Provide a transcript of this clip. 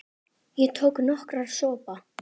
Ég tók nokkra sopa.